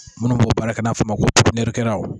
Minnu b'o baara kɛ n'a fɔ ma ko